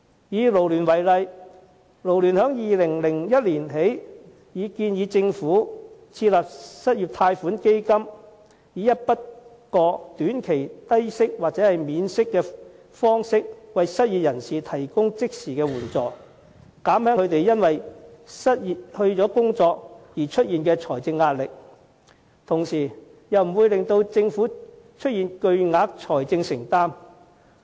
以勞聯為例，自2010年起已建議政府設立失業貸款基金，以一筆過短期低息或免息的方式為失業人士提供即時援助，以減輕他們因為失去工作而出現的財政壓力，同時又不會令政府出現巨額財政承擔。